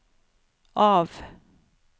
av